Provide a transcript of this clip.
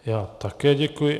Já také děkuji.